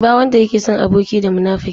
Ba wanda yake son aboki munafuki.